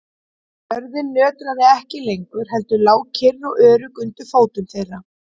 Jörðin nötraði ekki lengur heldur lá kyrr og örugg undir fótum þeirra.